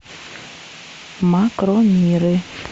макромиры